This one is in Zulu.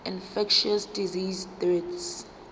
infectious disease deaths